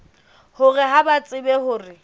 hore ha ba tsebe hore